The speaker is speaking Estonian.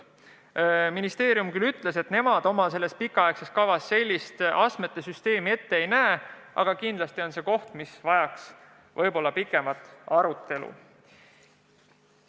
Ministeerium küll ütles, et nemad oma pikaaegses kavas sellist astmete süsteemi ette ei näe, aga kindlasti on see teema, mis vajaks pikemat arutelu.